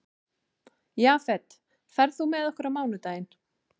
Jafet, ferð þú með okkur á mánudaginn?